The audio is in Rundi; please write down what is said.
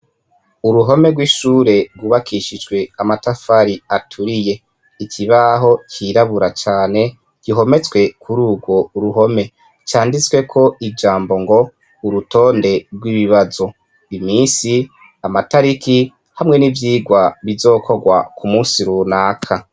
Uruhome rw'ishure rwubakishijwe amatafari aturiye ikibaho cirabura cane gihometswe kuri urwo uruhome canditswe ko ijambo ngo urutonde rw'ibibazo imisi amatariki hamwe n'ivyirwa bizokorwa ku musi runaka.